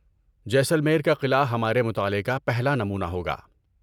جیسلمیر کا قلعہ ہمارے مطالعے کا پہلا نمونہ ہوگا۔